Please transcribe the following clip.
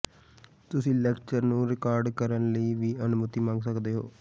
ਤੁਸੀਂ ਲੈਕਚਰ ਨੂੰ ਰਿਕਾਰਡ ਕਰਨ ਲਈ ਵੀ ਅਨੁਮਤੀ ਮੰਗ ਸਕਦੇ ਹੋ